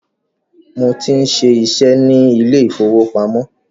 Mo tí ń ṣiṣẹ́ ni ilé ìfowópamọ́